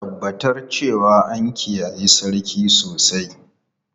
Tabbatar cewa an kiyaye sarki sosai!